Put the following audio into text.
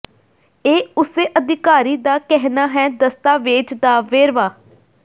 ਇਹ ਉਸੇ ਅਧਿਕਾਰੀ ਦਾ ਕਹਿਣਾ ਹੈ ਦਸਤਾਵੇਜ਼ ਦਾ ਵੇਰਵਾ